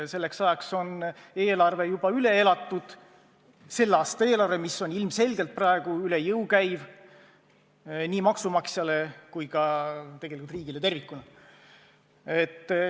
Selleks ajaks on selle aasta eelarve juba n-ö üle elatud, see on ilmselgelt praegu üle jõu käiv nii maksumaksjale kui ka tegelikult riigile tervikuna.